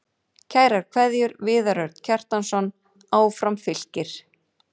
Kærar kveðjur, Viðar Örn Kjartansson Áfram Fylkir